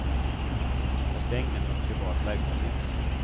Jag ska ägna mig åt privat verksamhet.